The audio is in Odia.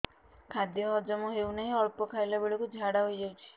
ଖାଦ୍ୟ ହଜମ ହେଉ ନାହିଁ ଅଳ୍ପ ଖାଇଲା ବେଳକୁ ଝାଡ଼ା ହୋଇଯାଉଛି